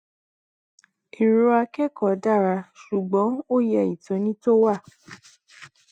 erò akẹkọọ dára ṣùgbọn ó yẹ ìtóni tó wà